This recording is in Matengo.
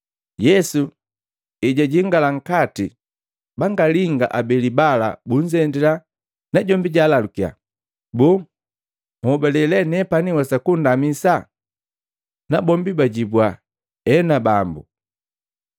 Yesu ejajingala nkati, bangalinga abeli bala bunzendila, najombi jaalalukiya, “Boo, nnhobale lee nepani nhwesa kundamisa?” Nabombi bajibua, “Ena Bambu.”